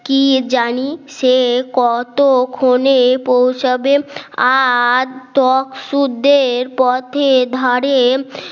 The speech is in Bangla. কি জানি সে কতক্ষণে পৌঁছাবে আর ত্বক সুদের পথে ধরে